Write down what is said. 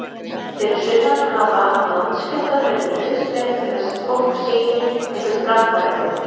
Fyrir sunnan hafa landskjálftar verið nauðsynlegir til að fólk sýni einhvern framfaravilja.